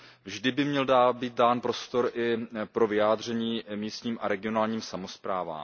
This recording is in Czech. Vždy by měl být dán prostor i pro vyjádření místním a regionálním samosprávám.